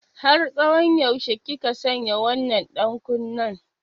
Har tsawon yaushe kika sanya wannan ɗankunnen?